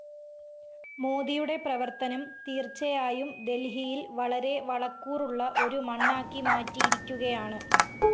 മോദിയുടെ പ്രവര്‍ത്തനം തീര്‍ച്ചയായും ദല്‍ഹിയില്‍ വളരെ വളക്കൂറുള്ള ഒരു മണ്ണാക്കിമാറ്റിയിരിക്കുകയാണ്